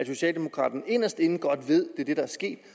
socialdemokraterne inderst inde godt ved er det der er sket